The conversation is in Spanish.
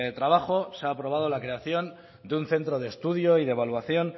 trabajo se ha aprobado la creación de un centro de estudio y de evaluación